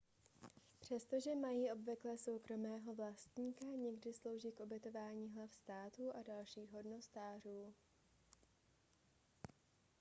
přestože mají obvykle soukromého vlastníka někdy slouží k ubytování hlav států a dalších hodnostářů